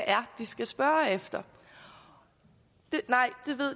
er de skal spørge efter nej